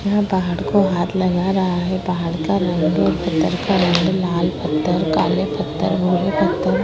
यह पहाड़ को हाथ लगा रहा है। पहाड़ का रंग पत्थर का रंग लाल पत्थर काले पत्थर भूरे पत्थर --